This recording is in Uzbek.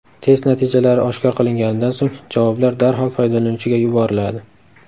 Test natijalari oshkor qilinganidan so‘ng, javoblar darhol foydalanuvchiga yuboriladi.